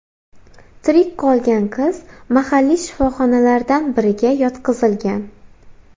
Tirik qolgan qiz mahalliy shifoxonalardan biriga yotqizilgan.